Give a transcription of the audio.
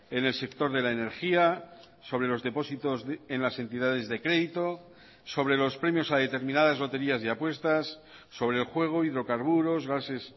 en el sector de la energía sobre los depósitos en las entidades de crédito sobre los premios a determinadas loterías y apuestas sobre el juego hidrocarburos gases